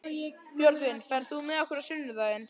Björgvin, ferð þú með okkur á sunnudaginn?